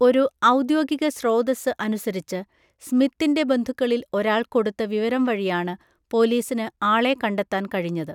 ഒരു ഔദ്യോഗിക സ്രോതസ്സ് അനുസരിച്ച്, സ്മിത്തിൻ്റെ ബന്ധുക്കളിൽ ഒരാൾ കൊടുത്ത വിവരം വഴിയാണ് പോലീസിന് ആളെ കണ്ടെത്താൻ കഴിഞ്ഞത്.